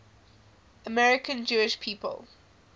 american jewish people